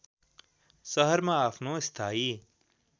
शहरमा आफ्नो स्थायी